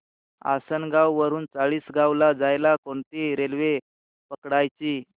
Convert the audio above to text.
आसनगाव वरून चाळीसगाव ला जायला कोणती रेल्वे पकडायची